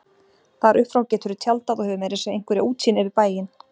Þar upp frá geturðu tjaldað og hefur meira að segja einhverja útsýn yfir bæinn